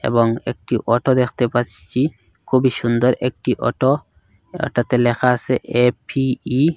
এবং একটি অটো দেখতে পাসছি খুবই সুন্দর একটি অটো এটাতে লেখা আসে এ_পি_ই ।